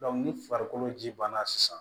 ni farikolo ji banna sisan